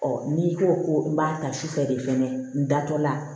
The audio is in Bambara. n'i ko ko n b'a ta su fɛ de fɛnɛ n da tɔ la